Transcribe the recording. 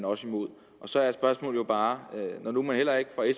også imod så er spørgsmålet jo bare når nu man heller ikke fra